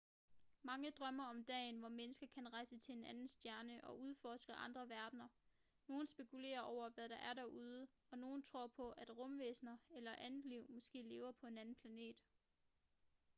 mange drømmer om dagen hvor mennesker kan rejse til en anden stjerne og udforske andre verdener nogle spekulerer over hvad der er derude og nogle tror på at rumvæsener eller andet liv måske lever på en anden planet